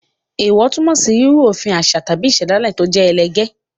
Èèwọ̀ túmọ̀ sí rírú òfin òfin àṣà tàbí ìṣẹ̀dálẹ̀ tó jẹ́ ẹlẹgẹ́.